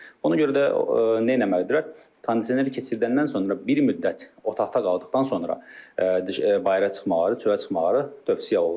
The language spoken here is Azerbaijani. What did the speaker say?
Ona görə də eləməlidirlər, kondisioneri keçirdəndən sonra bir müddət otaqda qaldıqdan sonra bayıra çıxmaları, çölə çıxmaları tövsiyə olunur.